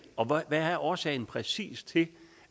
og hvad er årsagen præcis til